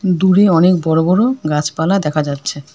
দূরে অনেক বড় বড় গাছপালা দেখা যাচ্ছে।